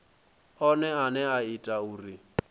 one ane a ita uri